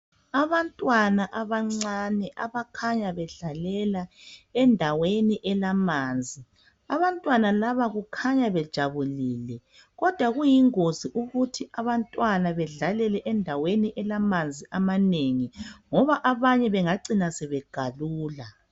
Abantwana abancane abakhanya bedlalela endaweni elamanzi. Abantwana laba kukhanya bejabulile kodwa kuyingozi ukuthi abantwana bedlalele endaweni elamanzi amanengi ngoba abanye bengacina begalula.